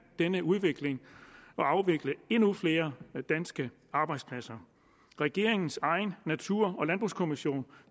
denne udvikling og afvikle endnu flere danske arbejdspladser regeringens egen natur og landbrugskommission